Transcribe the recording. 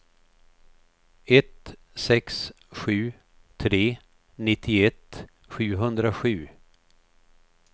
ett sex sju tre nittioett sjuhundrasju